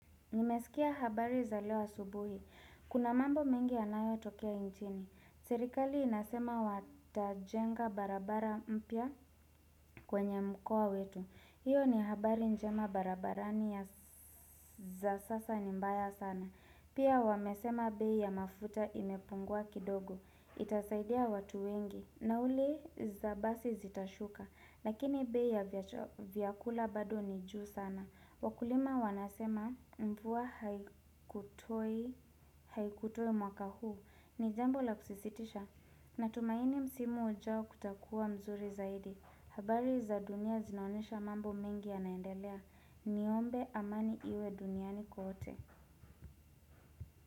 Nimesikia habari za leo asubuhi. Kuna mambo mengi yanayotokea nchini. Serikali inasema watajenga barabara mpya kwenye mkoa wetu. Hiyo ni habari njema, barabara za sasa ni mbaya sana. Pia wamesema bei ya mafuta imepungua kidogo. Itasaidia watu wengi. Nauli za basi zitashuka. Lakini bei ya vyakula bado ni juu sana. Wakulima wanasema mvua haitosha mwaka huu, ni jambo la kusikitisha. Natumaini msimu ujao utakuwa mzuri zaidi. Habari za dunia zinaonyesha mambo mengi yanaendelea. Niombe amani iwe duniani kote.